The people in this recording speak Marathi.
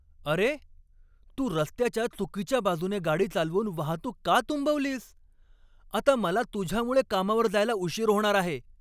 अरे, तू रस्त्याच्या चुकीच्या बाजूने गाडी चालवून वाहतूक का तुंबवलीस? आता मला तुझ्यामुळे कामावर जायला उशीर होणार आहे.